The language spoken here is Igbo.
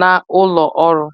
na ụlọ ọrụ.